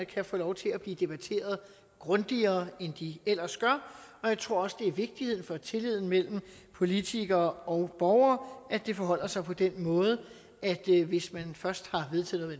kan få lov til at blive debatteret grundigere end de ellers gør jeg tror også det er vigtigt for tilliden mellem politikere og borgere at det forholder sig på den måde at hvis man først har vedtaget